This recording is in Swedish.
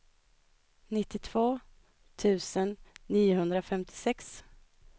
nittiotvå tusen niohundrafemtiosex